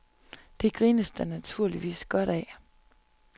Det grines der naturligvis godt af.